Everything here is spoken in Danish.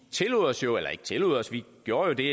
gjorde jo det